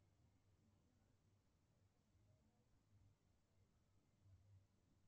салют восстановить пароль